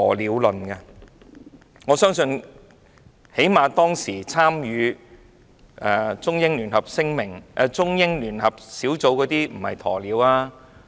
最低限度，我相信當時參與中英聯合聯絡小組的人並非"鴕鳥"。